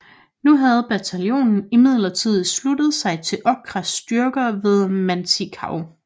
Nu havde bataljonen imidlertid sluttet sig til Okas styrker ved Matanikau